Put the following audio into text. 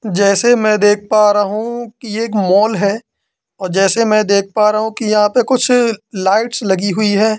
जैसे मैं देख पा रहा हूं कि एक मॉल है औ जैसे मैं देख पा रहा हूं कि यहां पे कुछ लाइट्स लगी हुई है।